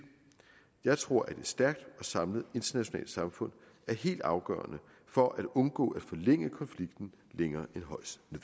jeg tror at et stærkt og samlet internationalt samfund er helt afgørende for at undgå at forlænge konflikten længere